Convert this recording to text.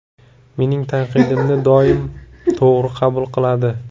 Mening tanqidimni doim to‘g‘ri qabul qiladi.